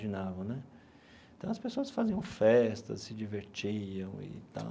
né. Então, as pessoas faziam festas, se divertiam e tal.